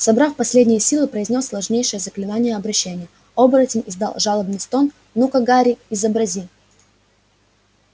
собрав последние силы произнёс сложнейшее заклинание обращения оборотень издал жалобный стон ну-ка гарри изобрази